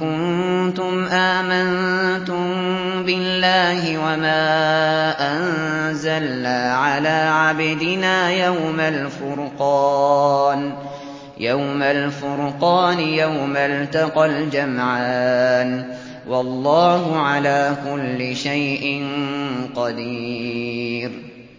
كُنتُمْ آمَنتُم بِاللَّهِ وَمَا أَنزَلْنَا عَلَىٰ عَبْدِنَا يَوْمَ الْفُرْقَانِ يَوْمَ الْتَقَى الْجَمْعَانِ ۗ وَاللَّهُ عَلَىٰ كُلِّ شَيْءٍ قَدِيرٌ